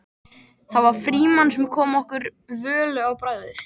Það var Frímann sem kom okkur Völu á bragðið.